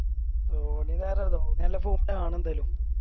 ഓല് ധാരാള ഓന് നല്ല Fourth ആണെന്താലും